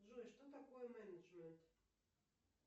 джой что такое менеджмент